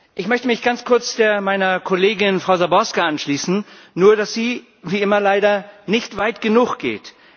Ich möchte mich ganz kurz meiner Kollegin, Frau Záborská, anschließen, nur dass sie wie immer leider nicht weit genug geht.